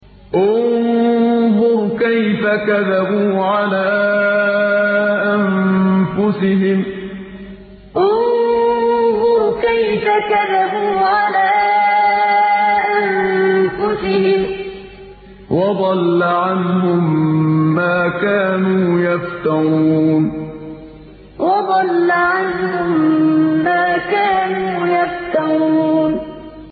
انظُرْ كَيْفَ كَذَبُوا عَلَىٰ أَنفُسِهِمْ ۚ وَضَلَّ عَنْهُم مَّا كَانُوا يَفْتَرُونَ انظُرْ كَيْفَ كَذَبُوا عَلَىٰ أَنفُسِهِمْ ۚ وَضَلَّ عَنْهُم مَّا كَانُوا يَفْتَرُونَ